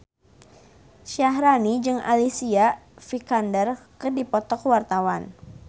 Syaharani jeung Alicia Vikander keur dipoto ku wartawan